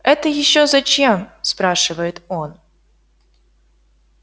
это ещё зачем спрашивает он